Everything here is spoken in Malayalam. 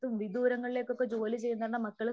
വിദൂരങ്ങളിലേക്ക് ഒക്കെ ജോലിചെയ്യുന്ന മക്കള്